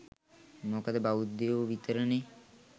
මොකද බෞද්ධයො විතරනේ